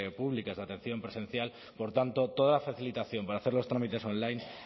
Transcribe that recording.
públicas de atención presencial por tanto toda la facilitación para hacer los trámites online